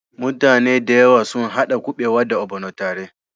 Muta ne da yawa suna hada kubewa da" ogbono" tare.